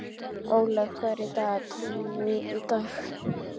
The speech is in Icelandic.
Ólaf, hvað er í dagatalinu í dag?